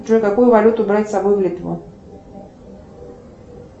джой какую валюту брать с собой в литву